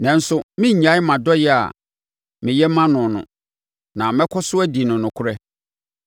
Nanso, merennyae mʼadɔeɛ a meyɛ ma noɔ no na mɛkɔ so adi no nokorɛ.